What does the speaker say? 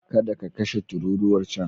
Kada ka kashe tururuwar can.